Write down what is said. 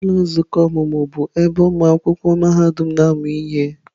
Ụlọ nzukọ ọmụmụ bụ ebe ụmụ akwụkwọ mahadum na-amụ ihe.